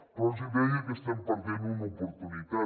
però els hi deia que estem perdent una oportunitat